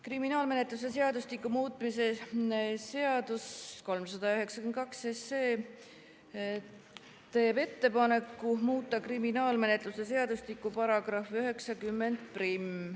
Kriminaalmenetluse seadustiku muutmise seaduse eelnõu 392 teeb ettepaneku muuta kriminaalmenetluse seadustiku § 901.